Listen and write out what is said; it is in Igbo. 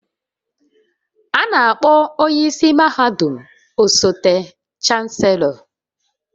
A na-akpọ onye isi mahadum osote Chancellor